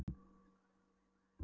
Og ég skal sannarlega launa þér vel.